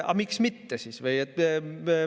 Aga miks siis mitte?